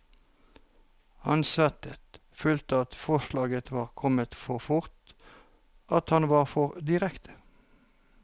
Han svettet, følte at forslaget var kommet for fort, at han var for direkte.